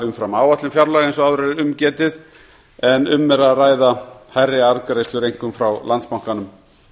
umfram áætlun fjárlaga eins og áður er um getið en um er að ræða hærri arðgreiðslur einkum landsbankanum